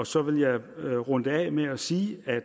så vil jeg runde det af med at sige at